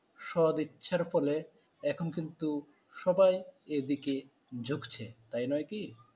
সদ ইচ্ছার ফলে এখন কিন্তু সবাই এই দিকে ঝুকছে তাই নয় কি?